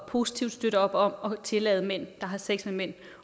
positivt op om at tillade mænd der har sex med mænd